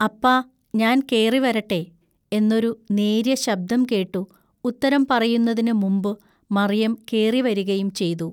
അപ്പാ ഞാൻ കേറിവരട്ടെ" എന്നൊരു നേൎയ്യ ശബ്ദം കേട്ടു ഉത്തരം പറയുന്നതിനു മുമ്പു മറിയം കേറിവരികയും ചെയ്തു.